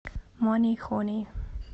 мани хони